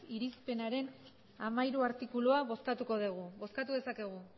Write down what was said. irizpenaren hamairu artikulua bozkatuko degu bozkatu dezakegu